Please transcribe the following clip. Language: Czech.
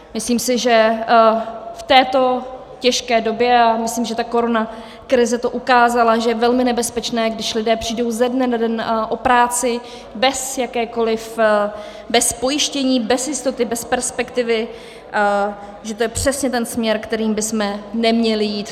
Myslím si, že v této těžké době, a myslím, že ta koronakrize to ukázala, že je velmi nebezpečné, když lidé přijdou ze dne na den o práci bez jakékoliv, bez pojištění, bez jistoty, bez perspektivy, že to je přesně ten směr, kterým bychom neměli jít.